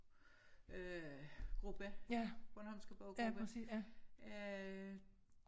Øh gruppe bornholmske boggruppe øh